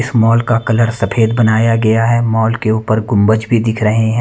इस मॉल का कलर सफेद बनाया गया है मॉल के ऊपर गुंबज भी दिख रहे हैं।